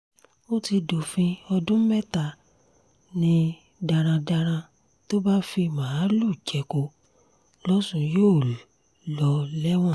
ó ti dófin ọdún mẹ́ta ni darandaran tó bá fi màálùú jẹko lọ́sùn yóò lò lẹ́wọ̀n